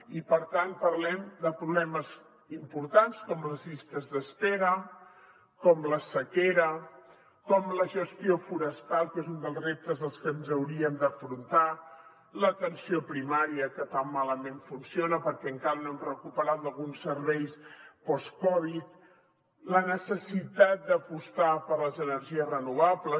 i per tant parlem de problemes importants com les llistes d’espera com la sequera com la gestió forestal que és un dels reptes que hauríem d’afrontar l’atenció primària que tan malament funciona perquè encara no hem recuperat alguns serveis postcovid la necessitat d’apostar per les energies renovables